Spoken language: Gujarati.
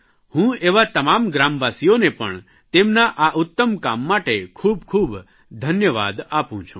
હું એવાં તમામ ગ્રામવાસીઓને પણ તેમના આ ઉત્તમ કામ માટે ખૂબખૂબ ધન્યવાદ આપું છું